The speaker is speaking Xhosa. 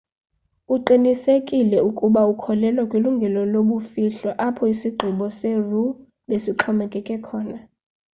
uqinisekisile ukuba ukholelwa kwilungelo lobumfihlo apho isigqibo se-roe besixhomekeke khona